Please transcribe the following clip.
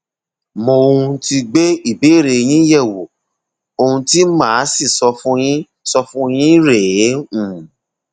mo um ti gbé ìbéèrè yín yẹwò ohun tí màá sì sọ fún yín sọ fún yín rèé um